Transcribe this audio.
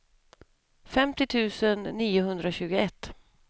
femtio tusen niohundratjugoett